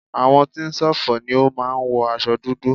Àwọn tí ń ṣọ̀fọ̀ ni ó máa ń wọ aṣo dúdú.